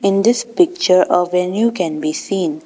In this picture a venue can be seen.